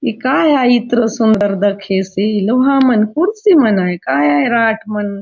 ए काय आय इतलो सुंदर दखेसे लोहा मन कुर्सी मन आय काय आय रॉड मन --